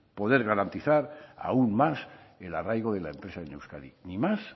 poder garantizar aún más el arraigo de la empresa en euskadi ni más